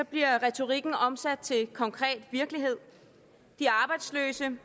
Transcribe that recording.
bliver retorikken omsat til konkret virkelighed de arbejdsløse